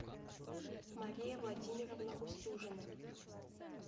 мария владимировна устюжина